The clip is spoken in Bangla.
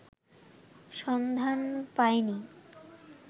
সন্ধান পায়নি